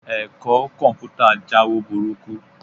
Ẹ̀kọ́ Kọ̀m̀pútà jáwo burúkú